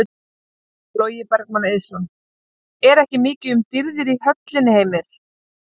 Logi Bergmann Eiðsson: Er ekki mikið um dýrðir í höllinni Heimir?